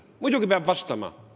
Muidugi peab vastama!